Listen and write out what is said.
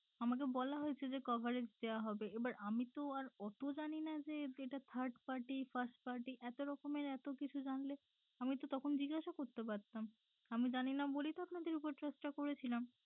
আমাকে বলা হয়েছে যে coverage দেওয়া হবে এবার আমি তো আর অত জানিনা যে এটা third party first party এতরকমের এতকিছু জানলে আমি তো তখন জিজ্ঞাসা করতে পারতাম আমি জানিনা বলেই তো আপনাদের ওপর trust টা করেছিলাম।